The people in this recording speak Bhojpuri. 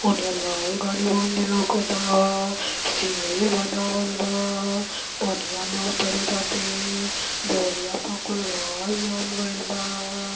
ओनिया लाल गानी मंदिल लउकता। सीढ़ी बनावल बा पनिया में उतरे खाति। देवलिया प कुल घांस जाम गइल बा।